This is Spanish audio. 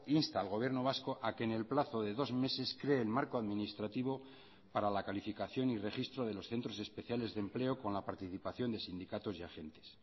insta al gobierno vasco a que en el plazo de dos meses cree el marco administrativo para la calificación y registro de los centros especiales de empleo con la participación de sindicatos y agentes